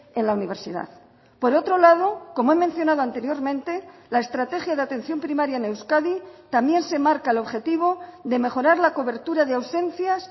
en la universidad por otro lado como he mencionado anteriormente la estrategia de atención primaria en euskadi también se marca el objetivo de mejorar la cobertura de ausencias